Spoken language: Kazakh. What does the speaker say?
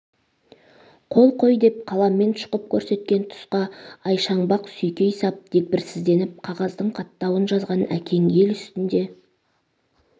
қол қой деп қаламмен шұқып көрсеткен тұсқа айшаңбақ сүйкей сап дегбірсізденіп қағаздың қаттауын жазған әкең әл үстінде